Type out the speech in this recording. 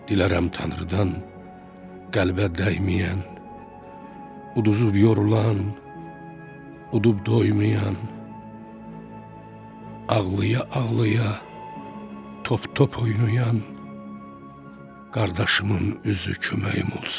Dilərəm Tanrıdan qəlbə dəyməyən, uduzub yorulan, udub doymayan, ağlaya-ağlaya top-top oynayan qardaşımın üzü köməyim olsun.